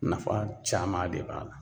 Nafa caman de b'a la.